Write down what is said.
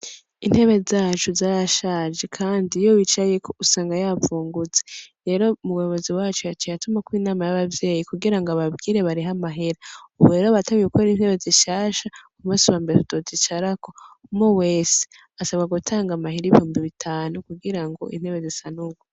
Intebe zacu zarashaje kandi iyo wicayeko usanga yavungutse rero umuyobozi wacu yaciye atumako inama y'abavyeyi kugira ngo ababwire barihe amahera, ubu rero batanguye gukora intebe zishasha ku musi wambere tuzozicarako, umwe wese asabwa gutanga amahera ibihumbi bitanu kugira ngo intebe zisanurwe.